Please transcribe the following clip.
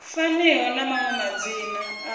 faniho na maṅwe madzina a